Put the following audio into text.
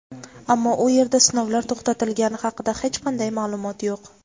Ammo u yerda sinovlar to‘xtatilgani haqida hech qanday ma’lumot yo‘q.